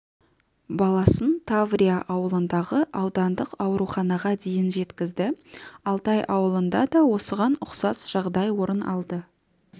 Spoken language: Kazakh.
баласын таврия ауылындағы аудандық ауруханаға дейін жеткізді алтай ауылында да осыған ұқсас жағдай орын алды